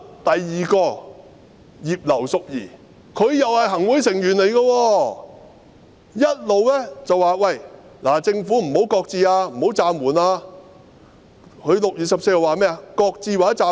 第二個是葉劉淑儀議員，她也是行會成員，一直叫政府不要擱置或暫緩，她在6月14日說甚麼？